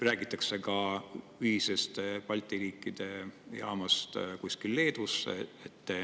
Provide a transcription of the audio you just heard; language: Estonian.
Räägitakse ka ühisest Balti riikide jaamast kuskil Leedusse.